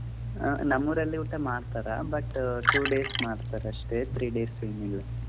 ಅಹ್ ನಮ್ಮೂರಲ್ಲಿ ಮಾಡ್ತಾರ but two days ಮಾಡ್ತಾರ್ ಅಷ್ಟೆ three days ಏನಿಲ್ಲ.